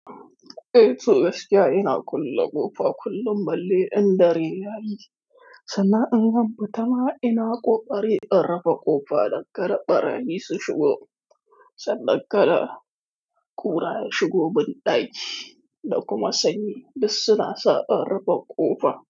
Dayake gaskiya ina kulle ƙofa kullum balle in dare yayi. Sannan in ɓu zanfita ma ina ƙoƙari in rufe ƙofa don kada ɓarayi su shigo. Sannan kada ƙura shigo min daƙi da kuma sanyi, duk suna sa in rufe ƙofa.